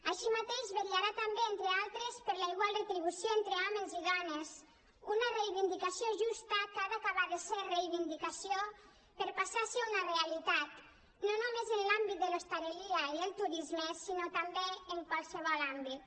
així mateix vetllarà també entre altres per la igual retribució entre hòmens i dones una reivindicació justa que ha d’acabar de ser reivindicació per passar a ser una realitat no només en l’àmbit de l’hostaleria i el turisme sinó també en qualsevol àmbit